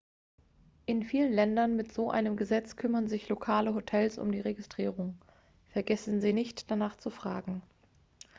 in vielen ländern mit so einem gesetz kümmern sich lokale hotels um die registrierung vergessen sie nicht danach zu fragen